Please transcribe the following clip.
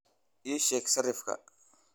ii sheeg sarifka